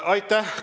Aitäh!